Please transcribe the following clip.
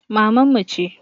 Maman mu ce